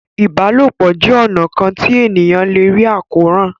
ìbálòpọ̀ jé ọnà kán tí ènìyàn lẹ rí Àkóràn.